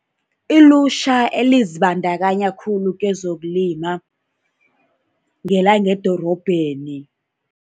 Ilutjha elizibandakanya khulu kezokulima ngelangedorobheni.